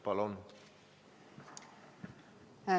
Palun!